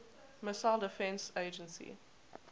missile defense agency